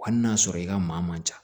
Hali n'a sɔrɔ i ka maa man ca